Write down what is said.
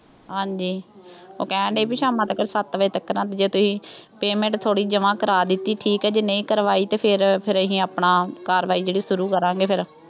ਹਾਂਜੀ, ਉਹ ਕਹਿਣ ਡੇਈ ਬਈ ਸ਼ਾਮਾਂ ਤੱਕਰ, ਸੱਤ ਵਜੇ ਤੱਕਰ ਜੇ ਤੁਸੀਂ payment ਥੋੜ੍ਹੀ ਜਮ੍ਹਾ ਕਰਾ ਦਿੱਤੀ ਠੀਕ ਹੈ, ਜੇ ਨਹੀਂ ਕਰਵਾਈ ਤੇ ਫੇਰ ਅਹ ਅਸੀਂ ਆਪਣਾ ਕਾਰਵਾਈ ਜਿਹੜੀ ਸ਼ੁਰੂ ਕਰਾਂਗੇ ਫੇਰ